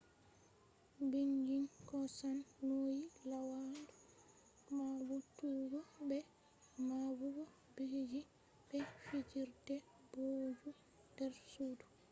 beijing hosan nauyi laawandu mabbutuggo be mabbugo bikiji be fijirde booju der sudu